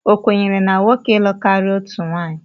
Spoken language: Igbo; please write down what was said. Ọ kwenyere na nwoke ilụ karịa otu nwaanyị?